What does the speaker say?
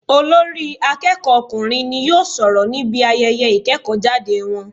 Olórí akéèkó ọkùnrin n yóò sòrò níbi ayeye ìkéèkó jáde won